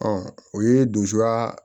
Ɔ o ye donsoya